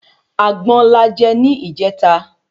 Àgbọn la je ni ijeta